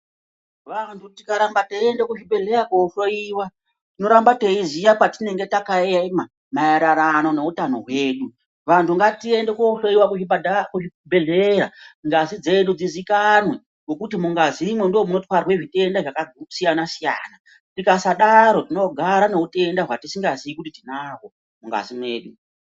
Vantu tikaramba teyiyende kuzvibhedhleya kohloyiwa, tinoramba teyiziya patinenge takayema mayererano newutano wedu. Vantu ngatiyende kohloyiwa kuzvipatara, kuzvibhedhleya ngazi dzedu dzizikanwe, ngokuti mungazi mo ndomunothware zvitenda zvakasiyana siyana. Tikasadaro tinogara newutenda watisingazivi kuti tinawo mungazi medu.